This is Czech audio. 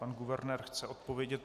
Pan guvernér chce odpovědět?